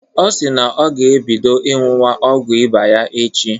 Ọ si na ọ ga-ebido ñyuwa ọgwu ịba ya echi.